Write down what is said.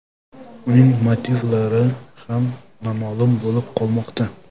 Uning motivlari ham noma’lum bo‘lib qolmoqda.